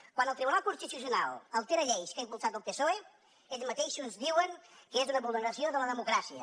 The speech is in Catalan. quan el tribunal constitucional altera lleis que ha impulsat el psoe ells mateixos diuen que és una vulneració de la democràcia